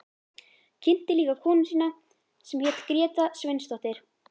Kynnti líka konu sína sem hét Gréta Sveinsdóttir.